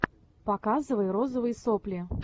показывай розовые сопли